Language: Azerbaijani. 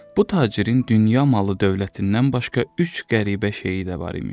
Bu tacirin dünya malı, dövlətindən başqa üç qəribə şeyi də var imiş.